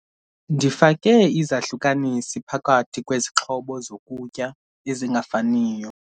Ndifake izahlukanisi phakathi kwezixhobo zokutya ezingafaniyo.